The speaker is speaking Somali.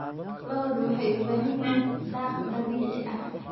Lo'du waxay u baahan yihiin daaq dabiici ah.